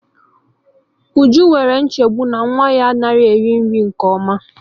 Uju nwere nchegbu na nwa ya anaghị eri nri nke ọma